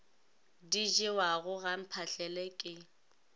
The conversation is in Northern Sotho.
di jewago ga mphahlele ke